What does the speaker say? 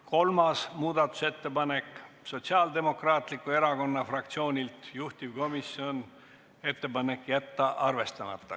Kolmas muudatusettepanek, Sotsiaaldemokraatliku Erakonna fraktsioonilt, juhtivkomisjoni ettepanek: jätta arvestamata.